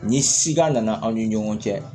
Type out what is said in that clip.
Ni sida nana aw ni ɲɔgɔn cɛ